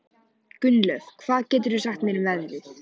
Gunnlöð, hvað geturðu sagt mér um veðrið?